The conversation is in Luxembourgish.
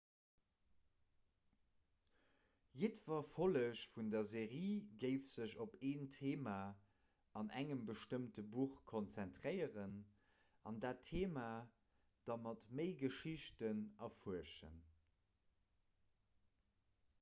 jiddwer folleg vun der serie géif sech op en theema an engem bestëmmte buch konzentréieren an dat theema da mat méi geschichten erfuerschen